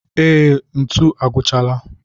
Ee, ntu agwụchaala